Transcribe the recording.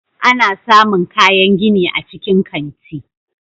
Ana samun kayan gini a cikin kanti.